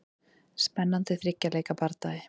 Spennandi þriggja leikja bardagi.